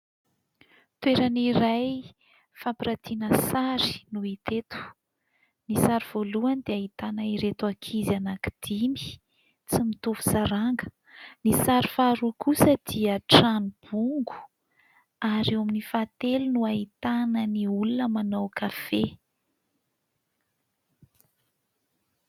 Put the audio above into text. Toerana iray fampiratiana sary no hita eto. Ny sary voalohany dia ahitana ireto ankizy anakidimy tsy mitovy saranga. Ny sary faharoa kosa dia ahitana trano bongo, ary eo amin'ny fahatelo no ahitana ny olona manao kafe.